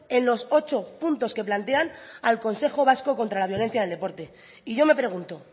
en los ocho puntos que plantean al consejo vasco contra la violencia en el deporte y yo me pregunto